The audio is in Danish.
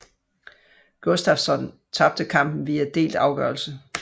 Gustafsson tabtte kampen via delt afgørelse